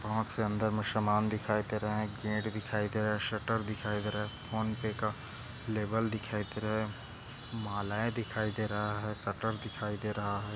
बहुत से अंदर दिखाई दे रहा है गेट दिखाई दे रहा है शटर दिखाई दे रहा है फोन पे का लेबल दिखाई दे रहा है मालाए दिखाई दे रहा है शटर दिखाई दे रहा हैं।